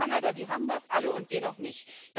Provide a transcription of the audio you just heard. Japan, Kanada, die haben das alle und wir noch nicht.